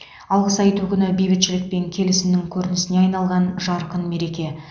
алғыс айту күні бейбітшілік пен келісімнің көрінісіне айналған жарқын мереке